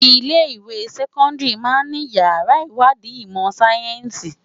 Ilé iwé sèkòndári má ni iyàrá iwádi imò sáyènsí